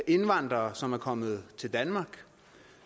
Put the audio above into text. indvandrere som er kommet til danmark og